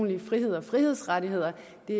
det